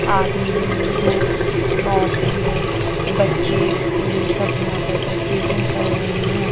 आदमी लोग औरतें लोग बच्चे बूढ़े सब यहाँ पर परचेजिंग कर रहें हैं।